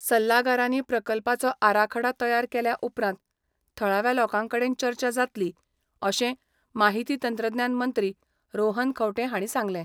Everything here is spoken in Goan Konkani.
सल्लागारांनी प्रकल्पाचो आराखडा तयार केल्या उपरांत थळाव्या लोकांवांगडा चर्चा जातली, अशें माहिती तंत्रज्ञान मंत्री रोहन खंवटे हांणी सांगलें.